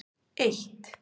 eitt